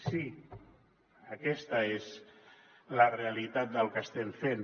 sí aquesta és la realitat del que estem fent